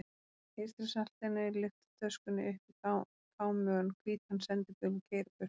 Eystrasaltinu lyfta töskunni upp í kámugan hvítan sendibíl og keyra burt.